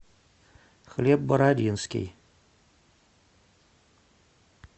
хлеб бородинский